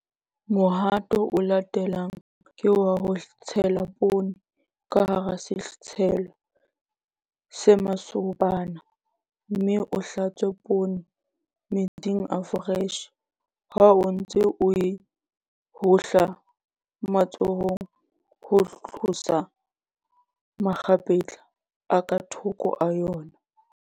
Mohato o latelang ke wa ho tshela poone ka hara setshelo se masobana, mme o hlatswe poone metsing a foreshe ha o ntse o e hohla matsohong ho tlosa makgapetla a ka thoko a yona.